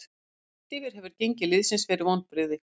Heilt yfir hefur gengi liðsins verið vonbrigði.